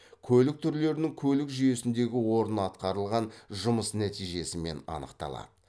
көлік түрлерінің көлік жүйесіндегі орны атқарылған жұмыс нәтижесімен анықталады